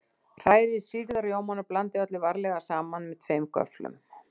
Hrærið sýrða rjómann og blandið öllu varlega saman með tveimur göfflum.